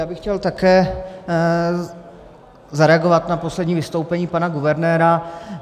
Já bych chtěl také zareagovat na poslední vystoupení pana guvernéra.